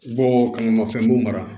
Bɔ ka na mafɛn b'o mara